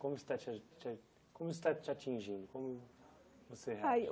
Como isso está te a te a como está te atingindo? Como você reagiu Ah eu